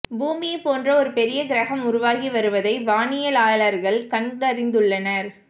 பூமியை போன்ற ஒரு பெரிய கிரகம் உருவாகி வருவதை வானியலாளர்கள் கண்டறிந்துள்ளனர்